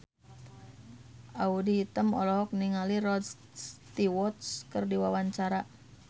Audy Item olohok ningali Rod Stewart keur diwawancara